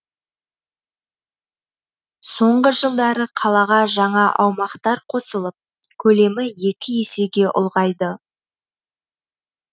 соңғы жылдары қалаға жаңа аумақтар қосылып көлемі екі есеге ұлғайды